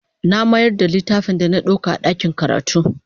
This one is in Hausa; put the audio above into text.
Na mayar da littafin da na ɗauka a ɗakin karatu.